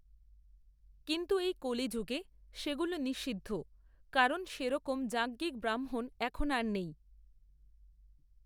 কিন্তু এই কলিযুগে সেগুলো নিষিদ্ধ কারণ সেরকম যাজ্ঞিক ব্রাহ্মণ এখন আর নেই।